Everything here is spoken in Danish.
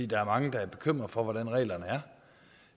der er mange der er bekymret for hvordan reglerne er